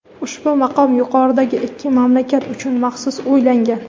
ushbu maqom yuqoridagi ikki mamlakat uchun maxsus o‘ylangan.